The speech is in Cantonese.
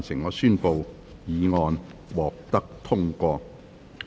我宣布議案獲得通過。